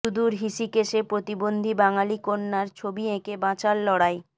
সুদূর ঋষিকেশে প্রতিবন্ধী বাঙালি কন্যার ছবি এঁকে বাঁচার লড়াই